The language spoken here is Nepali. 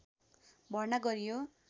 भर्ना गरियो